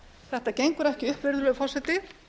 þetta gengur ekki upp virðulegur forseti